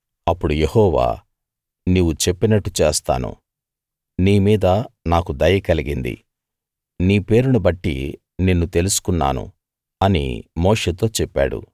అప్పుడు యెహోవా నీవు చెప్పినట్టు చేస్తాను నీ మీద నాకు దయ కలిగింది నీ పేరును బట్టి నిన్ను తెలుసుకున్నాను అని మోషేతో చెప్పాడు